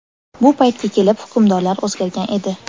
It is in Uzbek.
Bu paytga kelib hukmdorlar o‘zgargan edi.